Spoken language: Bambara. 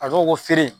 A dɔw ko feere